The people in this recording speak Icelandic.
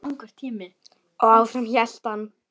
Og áfram hélt hann.